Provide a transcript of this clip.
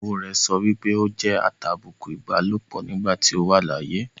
ìyàwó rẹ̀ sọpé ó jẹ́ atàbùkù ìbálòpọ̀ nígbà tí ó wà láyé.